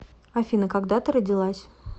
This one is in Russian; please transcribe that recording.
афина когда ты родилась